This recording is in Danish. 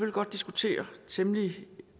godt diskutere temmelig